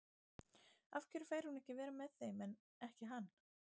Af hverju fær hún að vera með þeim en ekki hann?